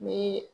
Ni